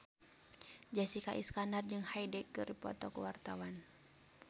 Jessica Iskandar jeung Hyde keur dipoto ku wartawan